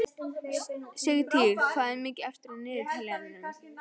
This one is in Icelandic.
Sigtýr, hvað er mikið eftir af niðurteljaranum?